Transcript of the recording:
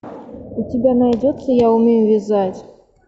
у тебя найдется я умею вязать